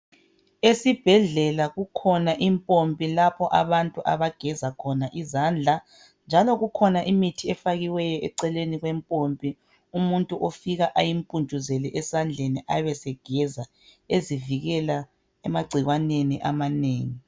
Esibhedlela kukhona impompi lapho abantu abageza khona izandla njalo kukhona imithi efakiweyo eceleni kwe mpompi umuntu ofika eyimpuntshuzele esandleni ebesegeza ezivikela emagcikwaneni amanengi.